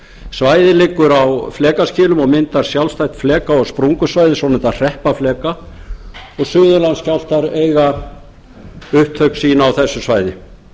svæðið liggur á flekaskilum og myndar sjálfstætt fleka og sprungusvæði svonefndan hreppafleka og suðurlandsskjálftar eiga upptök sín á þessu svæði